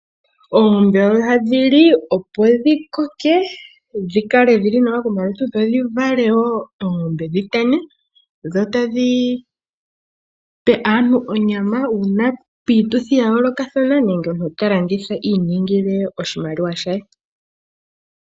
Oongombe oha dhili, opo dhi koke dhodhi kale dhili nawa komalutu, dhi vale oongombe etadhi tana, dho tadhi pe aantu onyama uuna piituthi ya yoolokathana nenge omuntu a landithe onyama a vule iimonene iiyemo.